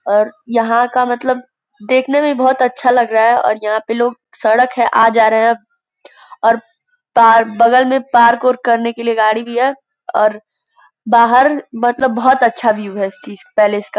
और यहां का मतलब देखने में बहुत अच्छा लग रहा है और यहां पे लोग सड़क है आ जा रहे हैं और बगल में पार्क और करने के लिए गाड़ी भी है और बाहर मतलब बहुत अच्छा व्यू है इस चीज पैलेस का --